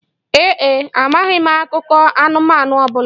Ee e, amaghị m akụkọ anụmanụ ọ bụla